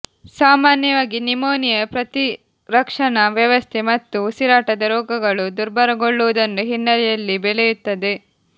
ಸಾಮಾನ್ಯವಾಗಿ ನ್ಯುಮೋನಿಯಾ ಪ್ರತಿರಕ್ಷಣಾ ವ್ಯವಸ್ಥೆ ಮತ್ತು ಉಸಿರಾಟದ ರೋಗಗಳು ದುರ್ಬಲಗೊಳ್ಳುವುದನ್ನು ಹಿನ್ನೆಲೆಯಲ್ಲಿ ಬೆಳೆಯುತ್ತದೆ